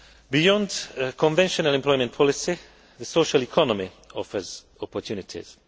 Beyond conventional employment policy, the social economy offers opportunities.